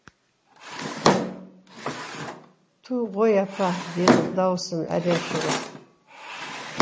ту ғой апа дедім дауысым әрең шығып